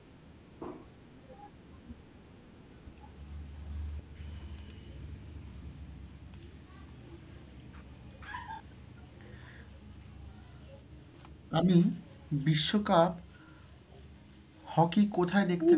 আমি বিশ্বকাপ hockey কোথায় দেখতে,